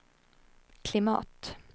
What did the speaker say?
klimat